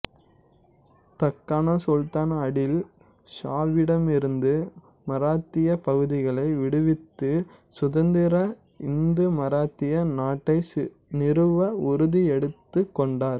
தக்கான சுல்தான் அடில் ஷாவிடமிருந்து மராத்தியப் பகுதிகளை விடுவித்து சுதந்திர இந்து மராத்திய நாட்டை நிறுவ உறுதி எடுத்துக் கொண்டார்